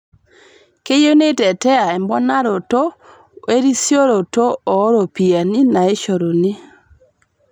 Keyieu neitetea eponaroto erisioroto oo ropiyiani naishoruni